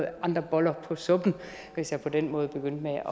andre boller på suppen hvis jeg på den måde begyndte